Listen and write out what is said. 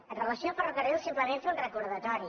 amb relació a ferrocarrils simplement fer un recordatori